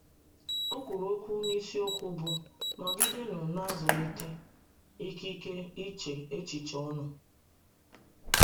O kwuru okwu n’isiokwu bụ́ “ Nọgidenụ Na - azụlite ‘ Ikike Iche Echiche Unu. ’”